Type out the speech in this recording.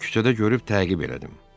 Onu küçədə görüb təqib elədim.